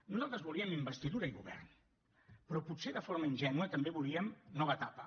nosaltres volíem investidura i govern però potser de forma ingènua també volíem nova etapa